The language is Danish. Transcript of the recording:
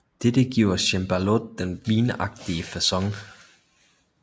Dette giver cembaloet den vingeagtige facon